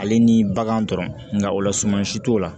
Ale ni bagan dɔrɔn nka o lasumansi t'o la